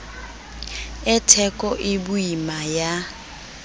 e theko e boima ya